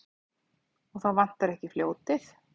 Og þá vantar ekki fljótið.